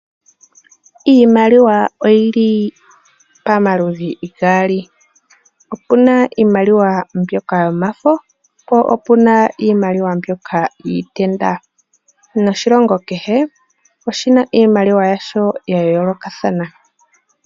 Iimaliwa oyili pamaludhi gaali. Opuna iimaliwa mbyoka yomafo po opuna iimaliwa mbyoka yiitenda. Noshilongo kehe oshina iimaliwa yasho ya yoolokathana.